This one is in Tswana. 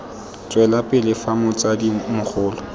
tswela pele fa motsadi mogolo